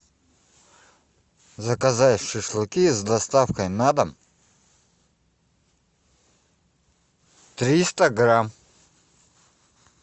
заказать шашлыки с доставкой на дом триста грамм